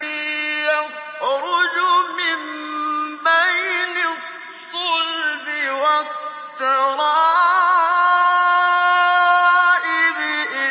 يَخْرُجُ مِن بَيْنِ الصُّلْبِ وَالتَّرَائِبِ